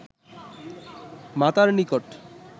মাতার নিকট